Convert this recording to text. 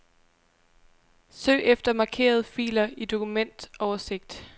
Søg efter markerede filer i dokumentoversigt.